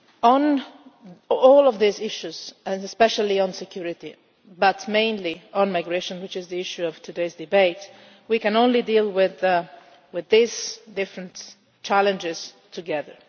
them. On all of these issues and especially on security, but mainly on migration, which is the issue of today's debate we can only deal with these different challenges together.